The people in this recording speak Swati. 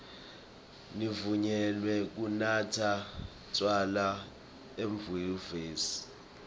nivunyelwe kunatsa tjwala enyuvesi